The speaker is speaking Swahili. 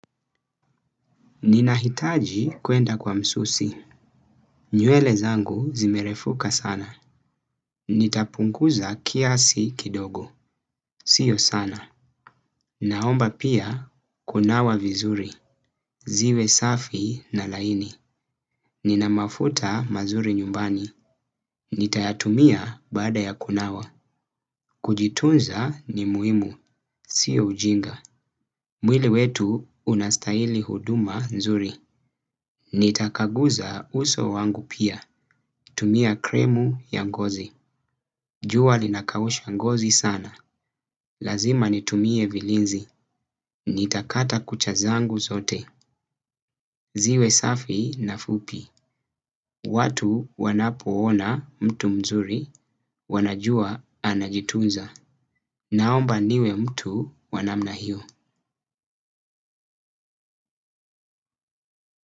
Ninahitaji kuenda kwa msusi. Nywele zangu zimerefuka sana. Nitapunguza kiasi kidogo. Sio sana. Naomba pia kunawa vizuri. Ziwe safi na laini. Ninamafuta mazuri nyumbani. Nitayatumia baada ya kunawa. Kujitunza ni muhimu. Sio ujinga. Mwili wetu unastahili huduma nzuri. Nitakaguza uso wangu pia. Tumia kremu ya ngozi. Jua linakausha ngozi sana. Lazima nitumie vilinzi. Nitakata kucha zangu zote. Ziwe safi na fupi. Watu wanapoona mtu mzuri wanajua anajitunza. Naomba niwe mtu wa namna hiyo.